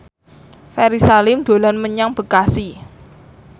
Ferry Salim dolan menyang Bekasi